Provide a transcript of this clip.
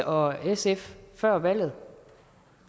og sf før valget